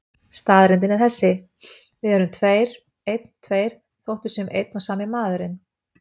Staðreyndin er þessi: Við erum tveir, einn, tveir, þótt við séum einn og sami maðurinn.